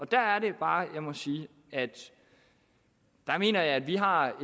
der er det bare jeg må sige at der mener jeg at vi har